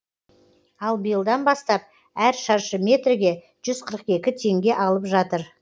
ал биылдан бастап әр шаршы метрге жүз қырық екі теңге алып жатыр